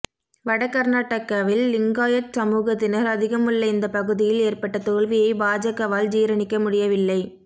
வட கர்நாடகாவில் லிங்காயத் சமூகத்தினர் அதிகம் உள்ள இந்த பகுதியில் ஏற்பட்ட தோல்வியை பாஜகவால் ஜீரணிக்க முடியவில்லை